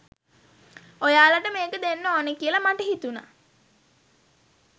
ඔයාලට මේක දෙන්න ඕන කියල මට හිතුන.